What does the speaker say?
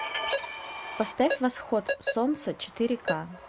поставь восход солнца четыре ка